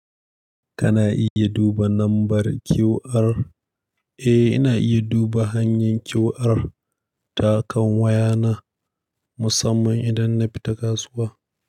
Kana iya duba nambar QR? Eh, ina iya duba hanyar QR ta kan wayana musamman idan na fita kasuwa.